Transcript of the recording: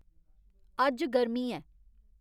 अज्ज गर्मी ऐ